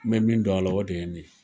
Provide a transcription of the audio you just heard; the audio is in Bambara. N bɛ min dɔn a la, o de ye nin ye.